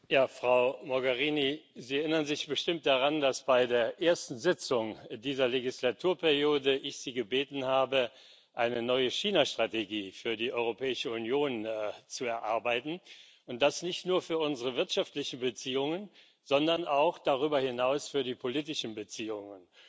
Herr Präsident! Frau Mogherini, Sie erinnern sich bestimmt daran, dass ich Sie bei der ersten Sitzung dieser Wahlperiode gebeten habe, eine neue Chinastrategie für die Europäische Union zu erarbeiten und das nicht nur für unsere wirtschaftlichen Beziehungen, sondern auch darüber hinaus für die politischen Beziehungen.